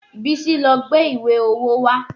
Bísí lọ gbé ìwé owó wá